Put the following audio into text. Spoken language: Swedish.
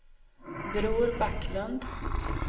Bror Backlund